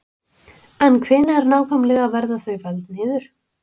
En hvenær nákvæmlega verða þau felld niður?